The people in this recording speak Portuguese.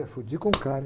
Eu fui, de, com, cara.